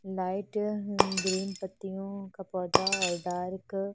light green पत्तियोंका पौधा और डार्क --